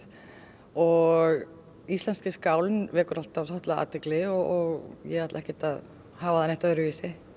og íslenski skálinn vekur alltaf athygli og ég ætla ekkert að hafa það öðruvísi